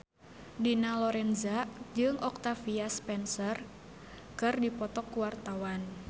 Dina Lorenza jeung Octavia Spencer keur dipoto ku wartawan